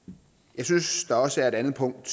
jeg synes der også er et andet punkt